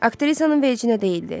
Aktrisanın vecinə deyildi.